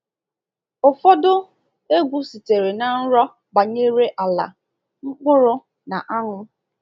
Ụfọdụ egwu sitere na nrọ banyere ala, mkpụrụ, na anwụ.